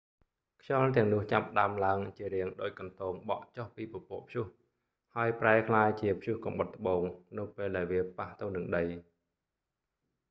ខ្យល់ទាំងនោះចាប់ផ្តើមឡើងជារាងដូចកន្ទោងបក់ចុះពីពពកព្យុះ ហើយប្រែក្លាយជា​«ព្យុះកំបុតត្បូង»នៅពេលដែលវាប៉ះទៅនឹងដី។